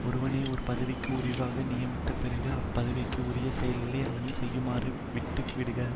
ஒருவனை ஒரு பதவிக்கு உரிவாக நியமித்த பிறகு அப்பதவிக்கு உரிய செயல்களை அவனே செய்யுமாறு விட்டுவிடுக